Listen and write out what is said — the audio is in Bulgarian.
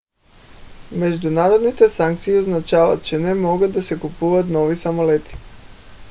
международните санкции означават че не могат да се купуват нови самолети